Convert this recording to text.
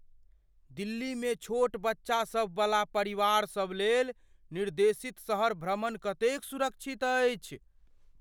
दिल्लीमे छोट बच्चासभवला परिवारसभ लेल निर्देशित शहर भ्रमण कतेक सुरक्षित अछि?